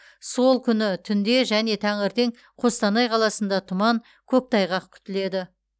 сол күні түнде және таңертең қостанай қаласында тұман көктайғақ күтіледі